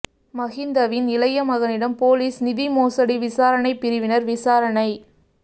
மஹிந்தவின் இளைய மகனிடம் பொலிஸ் நிதி மோசடி விசாரணை பிரிவினர் விசாரணை